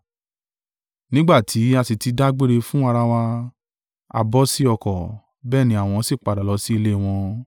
Nígbà tí a sì ti dágbére fún ara wa, a bọ́ sí ọkọ̀; bẹ́ẹ̀ ni àwọn sì padà lọ sí ilé wọn.